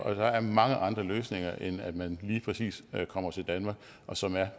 og der er mange andre løsninger end at man lige præcis kommer til danmark og som er